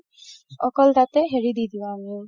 অকল তাতে হেৰি দি দিও উম